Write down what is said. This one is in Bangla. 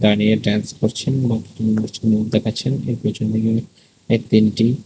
দাঁড়িয়ে ড্যান্স করছেন এবং কিছু মানুষকে মুভ দেখাচ্ছেন এর পেছন দিকে তিনটি--